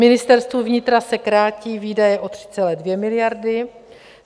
Ministerstvu vnitra se krátí výdaje o 3,2 miliardy.